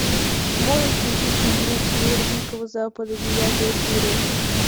можешь включить фильмец мир дикого запада девятая серия